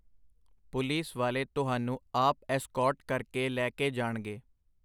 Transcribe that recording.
Police ਵਾਲੇ ਤੁਹਾਨੂੰ ਆਪ ਐਸਕੌਰਟ ਕਰਕੇ ਲੈ ਕੇ ਜਾਣਗੇ.